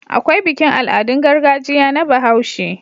Akwai bikin Al'adun gargajiya na bahaushe